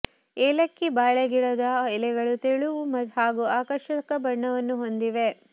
ಏಲಕ್ಕಿ ಬಾಳೆ ಗಿಡದ ಎಲೆಗಳು ತೆಳುವು ಹಾಗೂ ಆಕರ್ಷಕ ಬಣ್ಣವನ್ನು ಹೊಂದಿವೆ